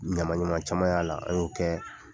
Ɲaman ɲaman caman y'a la, an y'o kɛ